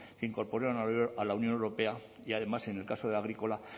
se incorporó a la unión europea y además en el caso agrícola